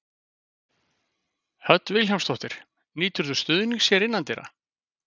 Hödd Vilhjálmsdóttir: Nýturðu stuðnings hér innandyra?